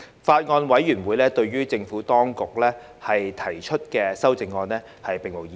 法案委員會對於政府當局提出的修正案並無異議。